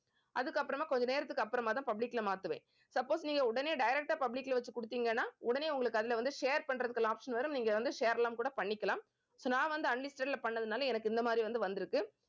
அதுக்கப்புறமா கொஞ்ச நேரத்துக்கு அப்புறமாதான் public ல மாத்துவேன் suppose நீங்க உடனே direct ஆ public ல வச்சு கொடுத்தீங்கன்னா உடனே உங்களுக்கு அதுல வந்து share பண்றதுக்கு option வரும். நீங்க வந்து share எல்லாம் கூட பண்ணிக்கலாம் so நான் வந்து unlisted ல பண்ணதுனால எனக்கு இந்த மாறி வந்து வந்திருக்கு